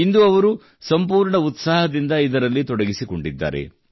ಇಂದು ಅವರು ಸಂಪೂರ್ಣ ಉತ್ಸಾಹದಿಂದ ಇದರಲ್ಲಿ ತೊಡಗಿಸಿಕೊಂಡಿದ್ದಾರೆ